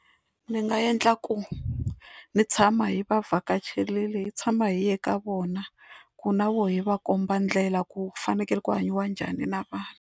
Ndzi nga endla ku ni tshama hi va vhakacherile hi tshama hi ya ka vona ku na vo hi va komba ndlela ku fanekele ku hanyiwa njhani na vanhu.